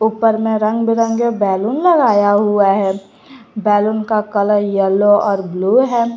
ऊपर में रंग बिरंगे बैलून लगाया हुआ है बैलून का कलर येलो और ब्लू है।